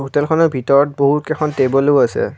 হোটেলখনৰ ভিতৰত বহুকেইখন টেবুলো আছে।